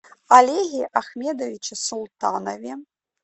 олеге ахмедовиче султанове